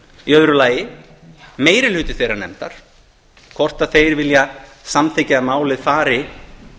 í öðru lagi meiri hluti þeirrar nefndar hvort þeir vilja samþykkja að málið fari